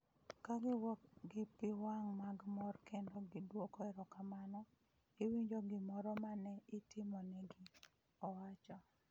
"Ka giwuok gi pi wang' mag mor kendo gidwoko erokamano, iwinjo gimoro ma ne itimo negi", owacho.